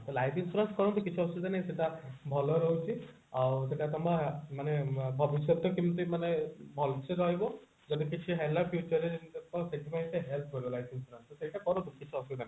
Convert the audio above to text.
ତ life insurance କରନ୍ତୁ କିଛି ଅସୁବିଧା ନାଇଁ ସେଟା ଭଲ ରହୁଛି ଆଉ ସେଟା କଣବା ମାନେ କେମତି ମାନେ ଭଲସେ ରହିବ ଯଦି କିଛି ହେଲା future ରେ ସେଥିପାଇଁ ସେ help କରିବ life insurance ତ ସେଇଟା କରନ୍ତୁ କିଛି ଅସୁବିଧା ନାହିଁ